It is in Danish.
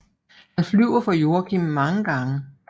Han flyver for Joakim mange gange